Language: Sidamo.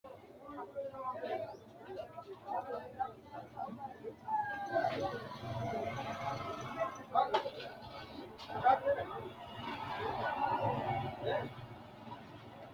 misile tini alenni nooti maati? maa xawissanno? Maayinni loonisoonni? mama affanttanno? leelishanori maati? kunni haqu maaho kalano? kirosi me"ete? muulesi marichi n?bayichisi hittoho?